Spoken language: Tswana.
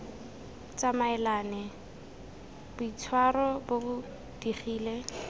tsamaelane boitshwaro bo bo digile